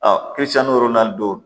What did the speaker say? kiricɛn ni yɔrɔ naani don